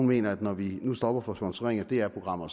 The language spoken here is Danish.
mener at når vi nu stopper for sponsorering af dr programmer